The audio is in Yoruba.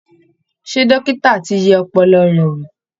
Ṣé dókítà ti yẹ ọpọlọ rẹ̀ wò?